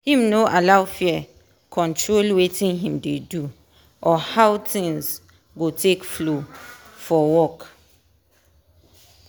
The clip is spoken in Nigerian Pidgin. him no allow fear control watin him dey do or how things go take flow for work.